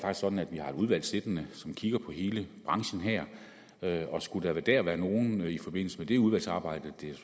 sådan at vi har et udvalg siddende som kigger på hele branchen her og skulle der være nogen i forbindelse med det udvalgsarbejde det er